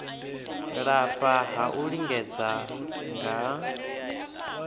lafha ha u lingedza nga